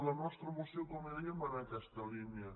la nostra moció com li deia va en aquesta línia